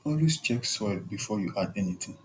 always check soil before you add anything